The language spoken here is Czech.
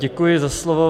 Děkuji za slovo.